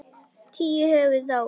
Tíu höfðu dáið.